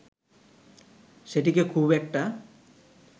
সেটিকে খুব একটা